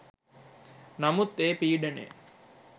නමුත් ඒ පීඩනය